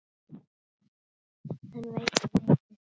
Hann veit of mikið.